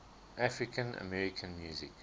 african american music